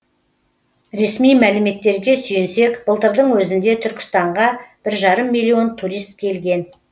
ресми мәліметтерге сүйенсек былтырдың өзінде түркістанға бір жарым миллион турист келген